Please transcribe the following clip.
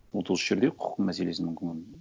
вот осы жерде құқық мәселесін мүмкін